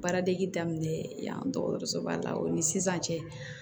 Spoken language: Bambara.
Baaradege daminɛ yan dɔgɔtɔrɔsoba la o ni sisan cɛ